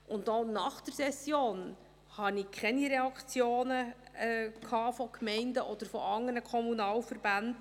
Auch nach der Session erhielt ich keine Reaktionen von Gemeinden oder anderen Kommunalverbänden.